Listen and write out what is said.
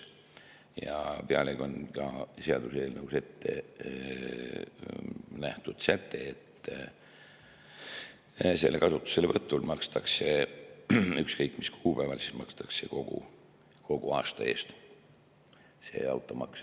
Ja pealegi on seaduseelnõus ette nähtud ka säte, et selle kasutuselevõtul ükskõik mis kuupäeval makstakse kogu aasta eest automaks.